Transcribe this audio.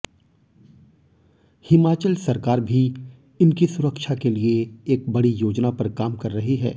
हिमाचल सरकार भी इनकी सुरक्षा के लिए एक बड़ी योजना पर काम कर रही है